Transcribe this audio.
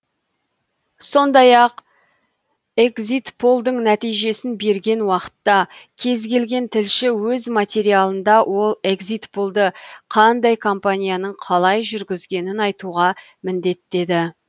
сондай ақ экзитполдың нәтижесін берген уақытта кез келген тілші өз материалында ол экзитполды қандай компанияның қалай жүргізгенін айтуға міндеттеді